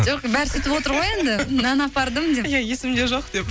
жоқ бәрі сөйтіп отыр ғой енді нан апардым деп иә есімде жоқ деп